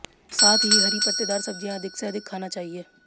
साथ ही हरी पत्तेदार सब्जियां अधिक से अधिक खाना चाहिए